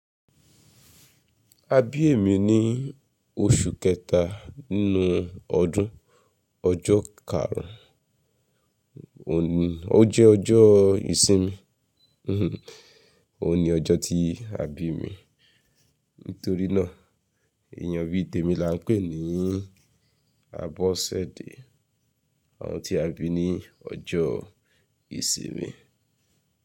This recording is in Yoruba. Abí ẹ̀ mi ní oṣù kẹta nínú ọdún, ọjọ́ karùn ún, ó jẹ́ ọjọ́ ìsinmi, òun ni ọjọ́ tí a bí mi. Nítorí náà, èyàn bíi tèmi la ńpè ní Abọ́sẹ̀dẹ, àwọn tí a bí ní ọjọ́ ìsinmi.